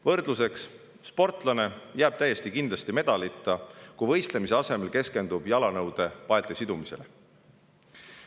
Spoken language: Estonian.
Võrdluseks: sportlane jääb kindlasti medalita, kui ta võistlemise asemel keskendub jalanõude paelte sidumisele.